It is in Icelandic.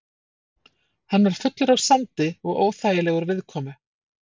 Hann var fullur af sandi og óþægilegur viðkomu.